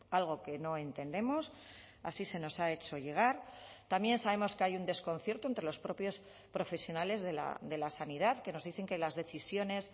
algo que no entendemos así se nos ha hecho llegar también sabemos que hay un desconcierto entre los propios profesionales de la sanidad que nos dicen que las decisiones